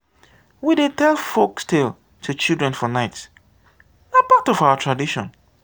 we dey tell folktales to children for night; na part of our tradition.